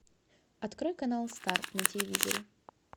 открой канал старт на телевизоре